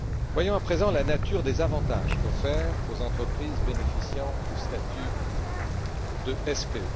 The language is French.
Voyons à présent la nature des avantages offerts aux entreprises bénéficiant du statut de SPE.